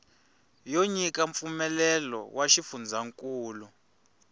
yo nyika mpfumelelo wa xifundzankulu